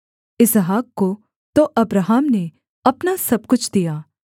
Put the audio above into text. इसहाक को तो अब्राहम ने अपना सब कुछ दिया